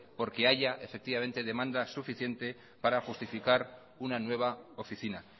porque haya demanda suficiente para justificar una nueva oficina